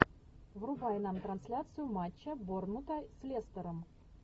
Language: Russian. врубай нам трансляцию матча борнмута с лестером